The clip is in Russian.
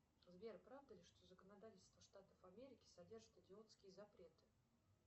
сбер правда ли что законодательство штатов америки содержит идиотские запреты